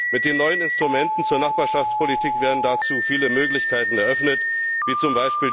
Mit den neuen Instrumenten zur Nachbarschaftspolitik werden dazu viele Möglichkeiten eröffnet, wie z.